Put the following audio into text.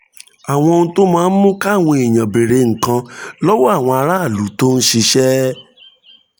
àwọn ohun tó máa ń mú káwọn èèyàn béèrè nǹkan lọ́wọ́ àwọn aráàlú tó ń ṣiṣẹ́